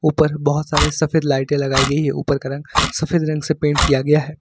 ऊपर बहोत सारे सफेद लाइटें लगाई गई है। ऊपर का रंग सफेद रंग से पेंट किया गया है।